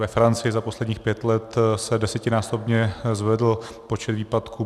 Ve Francii za posledních pět let se desetinásobně zvedl počet výpadků.